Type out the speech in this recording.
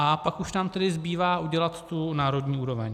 A pak už nám tedy zbývá udělat tu národní úroveň.